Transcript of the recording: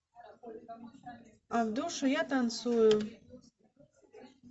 а в душе я танцую